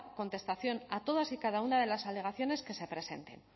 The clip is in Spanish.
contestación a todas y cada una de las alegaciones que se presenten